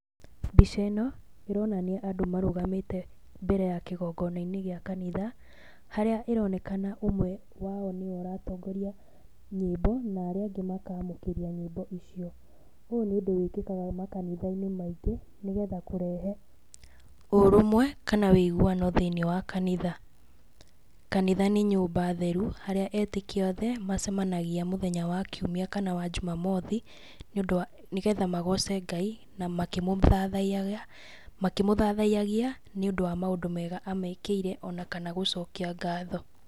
Mbica ĩno, ĩronania andũ marũgamĩte mbere ya kĩgongona-inĩ gĩa kanitha, harĩa ĩronekana ũmwe wao nĩ we ũratongoroa nyĩmbo na arĩa angĩ makamũkĩria nyĩmbo icio. Ũyũ nĩ ũndũ wĩkĩkaga makanitha-inĩ maingĩ, nĩ getha kũrehe ũrũmwe kana wĩiguano thĩiniĩ wa kanitha. Kanitha nĩ nyũmba theru, harĩa etĩkia othe macemanagia mũthenya wa kiumia kana wa jumamothi nĩ ũndũ wa, nĩ getha magoce Ngai na makĩmũthathaiyagia, nĩ ũndũ wa maũndũ mega amekĩire ona kana gũcokia ngatho.